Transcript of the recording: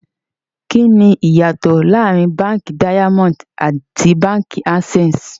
Kíni íyá tó laárìn Bankí Daimọndì àti Bankí Aksẹ́sì?